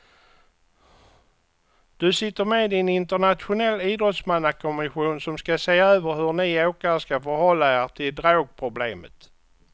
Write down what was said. Du sitter med i en internationell idrottsmannakommission som ska se över hur ni åkare ska förhålla er till drogproblemet.